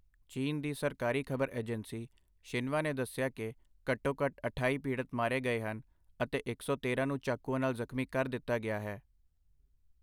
ਚੀਨ ਦੀ ਸਰਕਾਰੀ ਖ਼ਬਰ ਏਜੰਸੀ ਸ਼ਿਨਵਾ ਨੇ ਦੱਸਿਆ ਕਿ ਘੱਟੋ -ਘੱਟ ਅਠਾਈ ਪੀੜਤ ਮਾਰੇ ਗਏ ਹਨ ਅਤੇ ਇਕ ਸੌ ਤੇਰਾਂ ਨੂੰ ਚਾਕੂਆਂ ਨਾਲ ਜ਼ਖਮੀ ਕਰ ਦਿੱਤਾ ਗਿਆ ਹੈ।